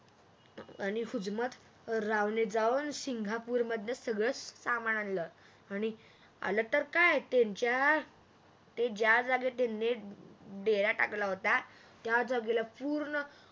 आणि हुजमतरावने जाऊन सिंगापूर मधले सगळे सामान आणल आणि आल तर काय त्यांच्या ते ज्या जागेत डेरा टाकलेला होता त्या जागेला पूर्ण